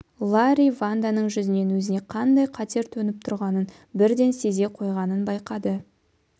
ларри ванданың жүзінен өзіне қандай қатер төніп тұрғанын бірден сезе қойғанын байқады